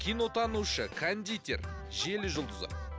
кинотанушы кондитер желі жұлдызы